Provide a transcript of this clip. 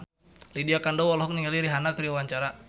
Lydia Kandou olohok ningali Rihanna keur diwawancara